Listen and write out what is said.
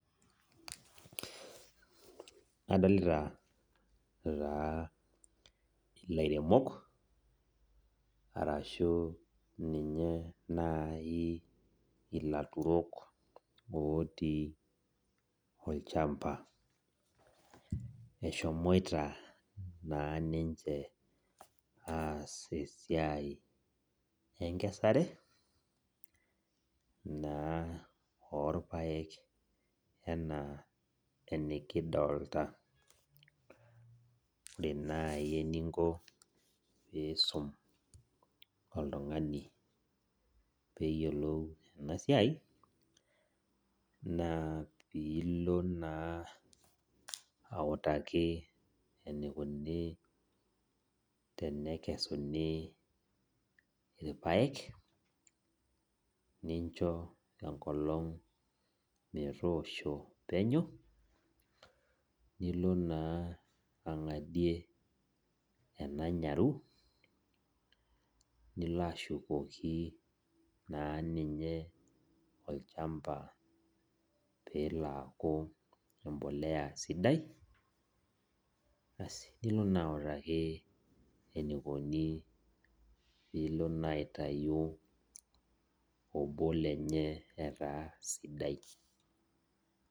Adolita taa ilairemok ashu ninye nai ilaturok otii olchamba eshomoita na ninche aas esiai enkikesare orpaek ena enikidolta ore nai eninko peisum oltungani peyiolou enasiai na pilo na autaki enikuni tenekesuni rpaek nincho enkolong metoosho penya nilo na angarie enanyaru nilo ashukoki na ninye olchamba pelo aaku embolea sidai asi nilo na autaki enikuni pilo na aitau obo lenye ataa sidai.